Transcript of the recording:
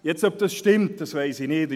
Nun, ob das stimmt, weiss ich nicht.